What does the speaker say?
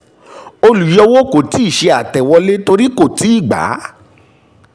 olùyọ kò tíì ṣe àtẹ̀wọlé torí kò tíì gbà á